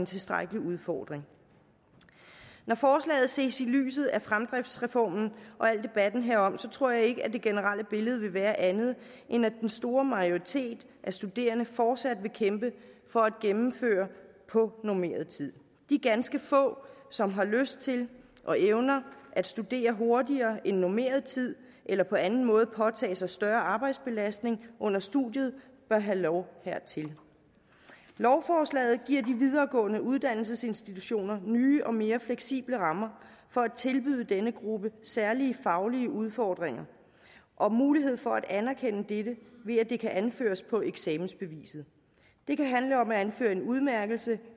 tilstrækkelig udfordring når forslaget ses i lyset af fremdriftsreformen og hele debatten herom tror jeg ikke at det generelle billede vil være andet end at den store majoritet af studerende fortsat vil kæmpe for at gennemføre på normeret tid de ganske få som har lyst til og evner at studere hurtigere end på normeret tid eller på anden måde påtage sig større arbejdsbelastning under studiet bør have lov hertil lovforslaget giver de videregående uddannelsesinstitutioner nye og mere fleksible rammer for at tilbyde denne gruppe særlige faglige udfordringer og mulighed for at anerkende dette ved at det kan anføres på eksamensbeviset det kan handle om at anføre en udmærkelse